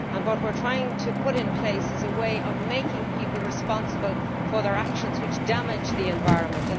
What we are trying to put in place is a means of making people responsible for their actions when these damage the environment.